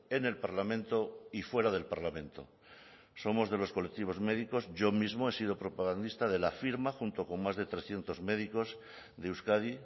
en el parlamento y fuera del parlamento somos de los colectivos médicos yo mismo he sido propagandista de la firma junto con más de trescientos médicos de euskadi